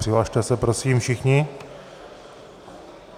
Přihlaste si, prosím, všichni.